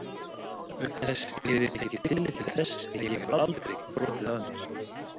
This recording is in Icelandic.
Auk þess yrði tekið tillit til þess að ég hefði aldrei brotið af mér.